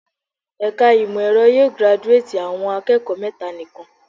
Ẹ̀ka ìmọ̀ ẹ̀rọ yóò giraduátì àwọn akẹ́kọ̀ọ́ mẹ́ta nikan.